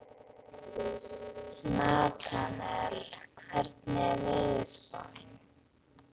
Natanael, hvernig er veðurspáin?